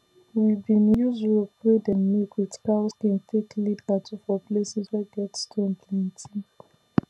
we bin use rope wey dem make with cow skin take lead cattle for places wey get stone plenty